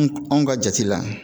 Anw ka jate la